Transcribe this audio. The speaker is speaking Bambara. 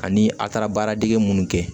Ani a taara baaradege minnu kɛ